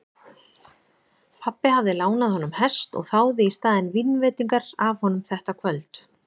Pabbi hafði lánað honum hest og þáði í staðinn vínveitingar af honum þetta kvöld.